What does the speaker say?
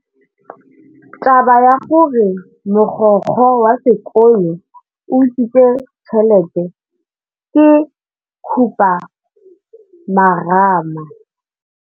Taba ya gore mogokgo wa sekolo o utswitse tšhelete ke khupamarama.